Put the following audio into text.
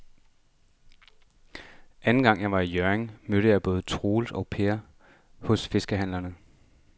Anden gang jeg var i Hjørring, mødte jeg både Troels og Per hos fiskehandlerne.